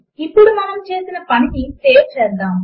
ఇప్పుడు మనము చేసిన పనిని సేవ్ చేసుకుందాము